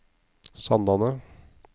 Sandane